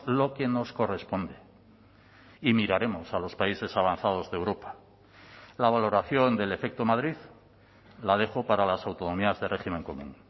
lo que nos corresponde y miraremos a los países avanzados de europa la valoración del efecto madrid la dejo para las autonomías de régimen común